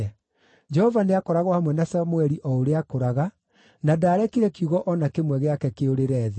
Jehova nĩakoragwo hamwe na Samũeli o ũrĩa aakũraga, na ndaarekire kiugo o na kĩmwe gĩake kĩũrĩre thĩ.